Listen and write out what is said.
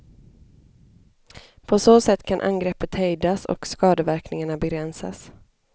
På så sätt kan angreppet hejdas och skadeverkningarna begränsas.